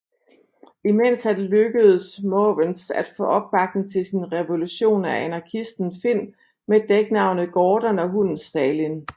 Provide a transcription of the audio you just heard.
Imens er det lykkedes Måvens at få opbakning til sin revolution af anarkisten Finn med dæknavnet Gordon og hunden Stalin